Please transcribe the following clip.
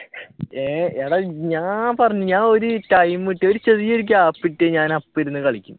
എടാ ഞാൻ പറഞ്ഞു ഞാൻ ഒരു ടൈം കിട്ടിയ ഒരു ചെറിയ ഒരു gap കിട്ടിയ ഞാൻ അപ്പൊ ഇരുന്നു കളിക്കും